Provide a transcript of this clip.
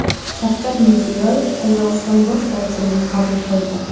Shavkat Mirziyoyev Qozog‘iston bosh vazirini qabul qildi.